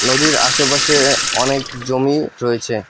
নদীর আশেপাশে অনেক জমি রয়েছে।